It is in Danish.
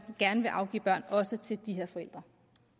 gerne vil afgive børn også til de her forældre